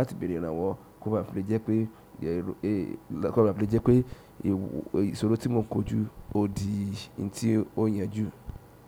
láti béèrè ìrànwọ́ ko bá fi lè jẹ pé ko bá fi lè jẹpe ìsọ̀rí tí mo ń kojú ó di ntí ó yanjú.